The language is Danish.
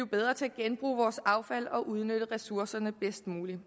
bedre til at genbruge vores affald og udnytte ressourcerne bedst muligt